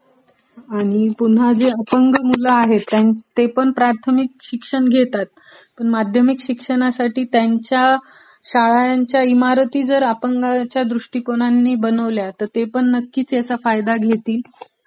आणि पुन्हा जे अपंग मुलं आहेत, ते पण प्रारथमिक शिक्षण घेतात पण माध्यमिक शिक्षणासाठी त्यांच्या शाळांच्या इमारती जर अपंगांच्या सोयीने बनवल्या तर ते ही त्याचा फायदा घेतील